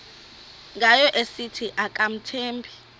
ngayo esithi akamthembi